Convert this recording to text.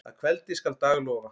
Að kveldi skal dag lofa.